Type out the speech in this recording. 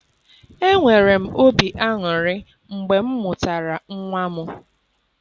Enwere m obi aṅụrị mgbe m mụtara nwa m.